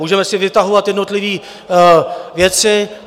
Můžeme si vytahovat jednotlivé věci.